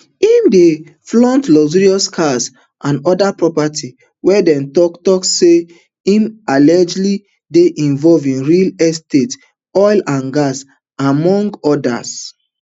im dey flaunt luxury cars and oda properties wia dem tok tok say im allegedly dey involved in real estates oil and gas among odas